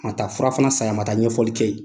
A ma taa fura fana san ye, a ma taa ɲɛfɔli kɛ yen.